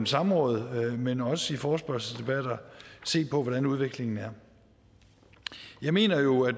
samråd men også i forespørgselsdebatter se på hvordan udviklingen er jeg mener jo at